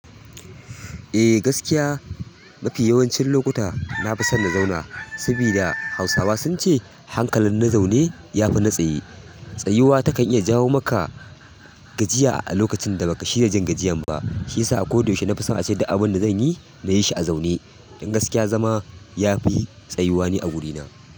Eh gaskiya mafi yawancin lokuta na fi son na zauna, saboda hausawa sunce hankalin na zaune ya fi na tsaye. Tsayuwa takan iya jawo maka gajiya a lokacin da baka shirya jin gajiyan ba. Shiyasa a koda yaushe nafison ace du abun da zanyi nayi shi a zaune. Dan gaskiya zama yafi tsayuwa ni a wurina.